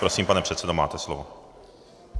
Prosím, pane předsedo, máte slovo.